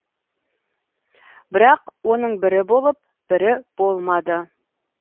бірақ оның бірі болып бірі болмады